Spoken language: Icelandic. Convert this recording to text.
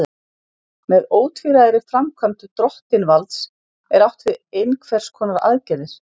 Með ótvíræðri framkvæmd drottinvalds er átt við einhvers konar aðgerðir.